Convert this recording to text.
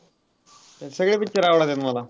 सगळे picture आवडत्यात मला.